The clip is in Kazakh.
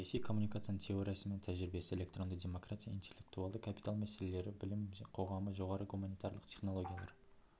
саяси коммуникацияның теориясы мен тәжірибесі электронды демократия интеллектуалды капитал мәселелері білім қоғамы жоғары гуманитарлық технологиялар